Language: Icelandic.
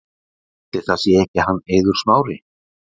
Ætli það sé ekki hann Eiður Smári.